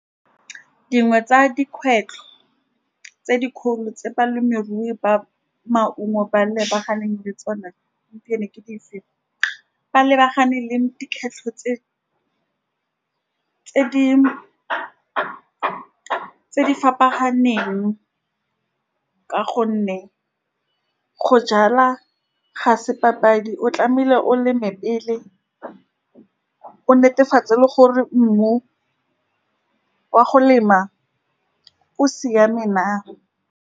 Dingwe tsa dikgwetlho tse dikgolo tse balemirui ba maungo ba lebaganeng le tsone gompieno ke di feng, ba lebagane le dikgwetlho tse-tse di fapaneng, ka gonne go jala ga se papadi, o tlamehile o leme pele o netefatse le gore mmu wa go lema a o siame na.